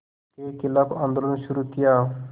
के ख़िलाफ़ आंदोलन शुरू किया